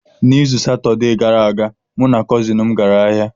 N’izu Satọde gara aga, mụ na kọzin m gara ahịa.